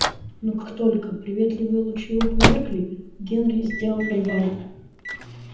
но как только приветливые лучи его померкли генри сделал привал